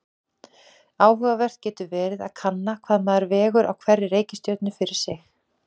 Áhugavert getur verið að kanna hvað maður vegur á hverri reikistjörnu fyrir sig.